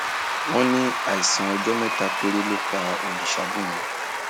wọn ní àìsàn ọjọ mẹta péré ló pa orìṣàbùnmí